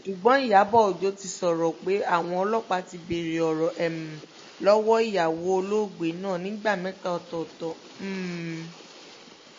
ṣùgbọ́n ìyàbọ̀ ọjọ́ ti sọ̀rọ̀ pé àwọn ọlọ́pàá ti béèrè ọ̀rọ̀ um lọ́wọ́ ìyàwó olóògbé náà nígbà mẹ́ta ọ̀tọ̀ọ̀tọ̀ um